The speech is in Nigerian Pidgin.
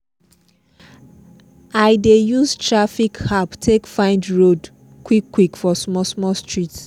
i dey use traffic app take find road quick quick for small small street